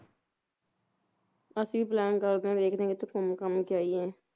ਅਸੀਂ ਵੀ plain ਕਰਦੇ ਆ ਦੇਖਦੇ ਆ ਕਿੱਥੇ ਘੁੰਮ ਘਾਮ ਕੇ ਆਈਏ